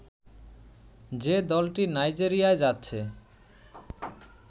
যে দলটি নাইজেরিয়ায় যাচ্ছে